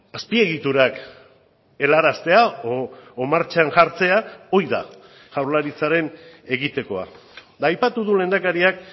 azpiegiturak helaraztea edo martxan jartzea hori da jaurlaritzaren egitekoa eta aipatu du lehendakariak